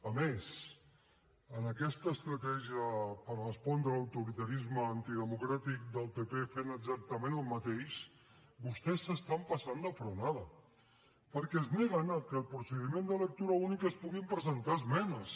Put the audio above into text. a més amb aquesta estratègia per respondre l’autoritarisme antidemocràtic del pp fent exactament el mateix vostès s’estan passant de frenada perquè es neguen a que al procediment de lectura única es puguin presentar esmenes